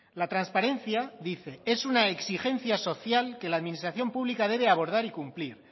la transparencia dice es una exigencia social que la administración pública debe abordar y cumplir